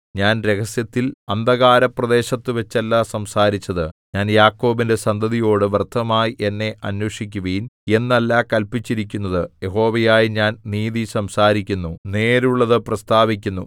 ഞാൻ രഹസ്യത്തിൽ അന്ധകാരപ്രദേശത്തുവച്ചല്ല സംസാരിച്ചത് ഞാൻ യാക്കോബിന്റെ സന്തതിയോട് വ്യർത്ഥമായി എന്നെ അന്വേഷിക്കുവിൻ എന്നല്ല കല്പിച്ചിരിക്കുന്നത് യഹോവയായ ഞാൻ നീതി സംസാരിക്കുന്നു നേരുള്ളതു പ്രസ്താവിക്കുന്നു